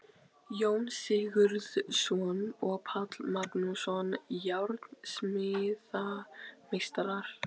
Jón Sigurðsson og Páll Magnússon, járnsmíðameistarar.